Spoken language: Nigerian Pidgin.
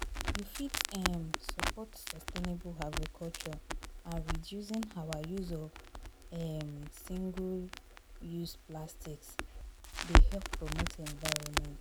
You fit um support sustainable agriculture and reducing our use of um single-use plastics dey help promote environment.